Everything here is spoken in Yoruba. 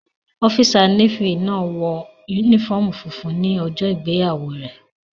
Ọ́físà Nééfì náà wọ yúnífọ́ọ̀mù funfun ní ọjọ́ ìgbéyàwó rẹ̀